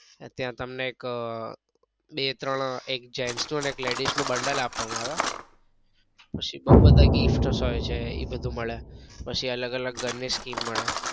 અત્યારે તમને એક બે ત્રણ એક gents and એક ladies નું bundal આપવા માં આવે પછી બઉ બધા gifts એ બધું મળે પછી અલગ અલગ ઘર ની scheme મળે.